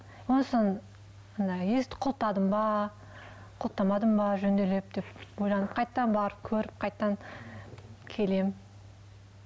андай есікті құлыптадым ба құлыптамадым ба жөнделеп деп ойланып қайтадан барып көріп қайтадан келемін